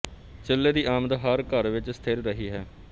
ਚੁੱਲੇ ਦੀ ਆਮਦ ਹਰ ਘਰ ਵਿਚ ਸਥਿਰ ਰਹੀ ਹੈ